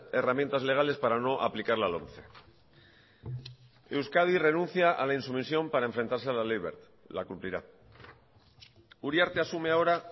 herramientas legales para no aplicar la lomce euskadi renuncia a la insumisión para enfrentarse a la ley wert la cumplirá uriarte asume ahora